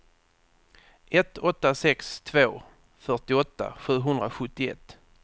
ett åtta sex två fyrtioåtta sjuhundrasjuttioett